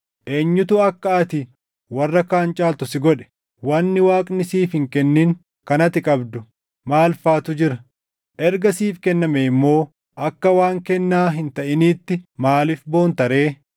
Eenyutu akka ati warra kaan caaltu si godhe? Wanni Waaqni siif hin kennin kan ati qabdu maal faatu jira? Erga siif kennamee immoo akka waan kennaa hin taʼiniitti maaliif boonta ree?